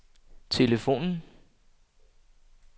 telefonen